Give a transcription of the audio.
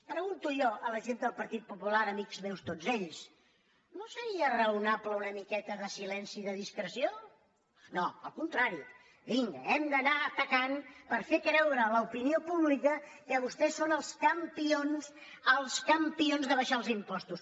pregunto jo a la gent del partit popular amics meus tots ells no seria raonable una miqueta de silenci i de discreció no al contrari vinga hem d’anar atacant per fer creure a l’opinió pública que vostès són els campions els campions d’abaixar els impostos